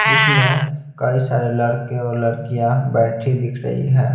जिसमें कई सारे लड़के और लड़कियां बैठी दिख रही है।